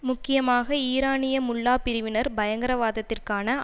முக்கியமாக ஈரானிய முல்லாபிரிவினர் பயங்கரவாதத்திற்கான